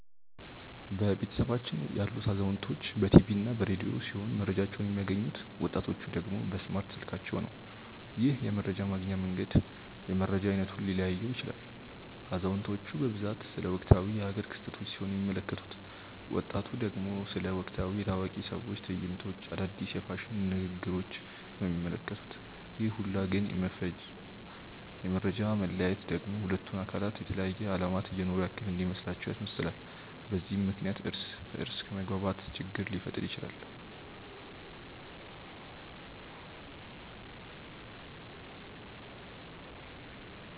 በቤተሰባችን ያሉት አዛውንቶች በ ቲቪ እና በ ረዲዮ ሲሆም መረጃቸውን የሚያገኙት፤ ወጣቲቹ ደግሞ በእስማርት ስልካቸው ነው። ይህም የመረጃ ማግኛ መንገድ የመረጃ አይነቱን ሊለያየው ይችላል። አዛውንቲቹ በብዛት ስለ ወቅታዊ የ ሃገር ክስተቶች ሲሆን የሚመለከቱት፤ ወጣቱ ደግሞ ስለ ወቅታዊ የ ታዋቂ ሰዎች ትዕይንቶች፣ አዳዲስ የ ፋሽን ንግግሪች ነው የሚመለከቱት፤ ይህ ሁላ የ መፈጃ መለያየት ደግሞ ሁለቱን አካላት የተለያየ አለማት እየኖሩ ያክል እንዲመስላቸው ያስመስላል፤ በዛም ምክንያት እርስ በ እርስ ከመግባባት ችግር ሊፈጠር ይችላል።